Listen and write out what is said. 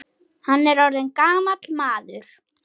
Hann er orðinn gamall maður.